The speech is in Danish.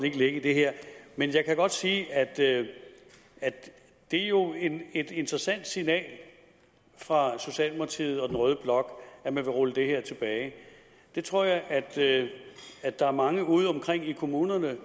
ikke lægge i det her men jeg kan godt sige at det jo er et interessant signal fra socialdemokratiet og rød blok at man vil rulle det her tilbage jeg tror at at der er mange ude omkring i kommunerne